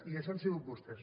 i això han sigut vostès